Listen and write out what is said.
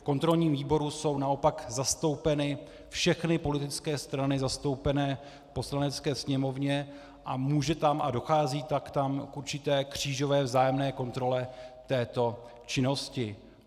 V kontrolním výboru jsou naopak zastoupeny všechny politické strany zastoupené v Poslanecké sněmovně a může tam a dochází tak tam k určité křížové vzájemné kontrole této činnosti.